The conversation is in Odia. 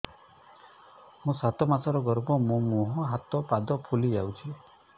ମୋ ସାତ ମାସର ଗର୍ଭ ମୋ ମୁହଁ ହାତ ପାଦ ଫୁଲି ଯାଉଛି